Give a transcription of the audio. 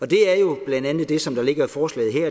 det er jo blandt andet det som der ligger i forslaget her